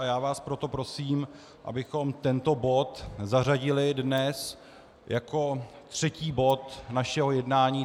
A já vás proto prosím, abychom tento bod zařadili dnes jako třetí bod našeho jednání.